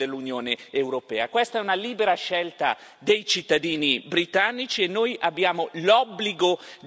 Questa è una libera scelta dei cittadini britannici e noi abbiamo l'obbligo di rispettarla.